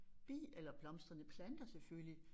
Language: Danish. Bi eller blomstrende planter selvfølgelig